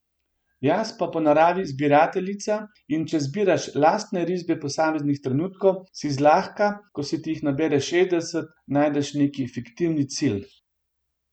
Jaz sem po naravi zbirateljica in če zbiraš lastne risbe posameznih trenutkov, si zlahka, ko se ti jih nabere šestdeset, najdeš neki fiktivni cilj.